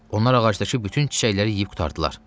Onlar ağacdakı bütün çiçəkləri yeyib qurtardılar.